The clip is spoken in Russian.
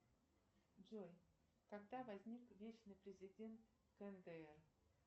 джой когда возник вечный президент кндр